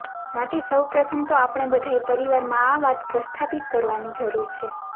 માટે સૌ પ્રથમ તો આપણે બધાએ પરિવારમાં આ વાત પ્રસ્થાપિત કરવાની જરૂર છે